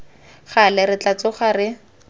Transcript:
gale re tla tsoga re